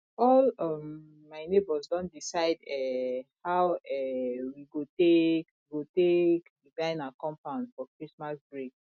all um my nebors don decide um how um we go take go take design our compound for christmas break